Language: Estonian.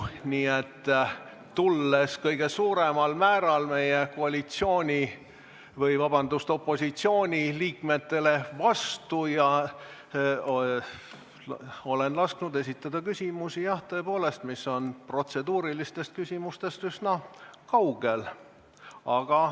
Nii et tulles kõige suuremal määral meie opositsiooni liikmetele vastu, olen lasknud esitada küsimusi, mis jah, tõepoolest, on protseduurilistest küsimustest üsna kaugel.